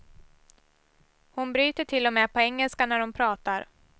Hon bryter till och med på engelska när hon pratar.